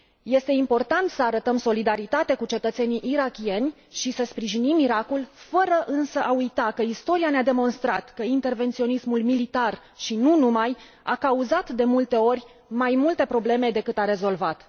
este important să arătăm solidaritate cu cetățenii irakieni și să sprijinim Irakul, fără însă a uita că istoria ne a demonstrat că intervenționismul militar și nu numai a cauzat, de multe ori, mai multe probleme decât a rezolvat.